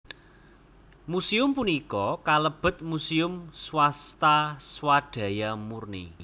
Museum punika kalebet muséum swasta swadaya murni